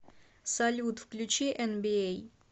салют включи энбиэй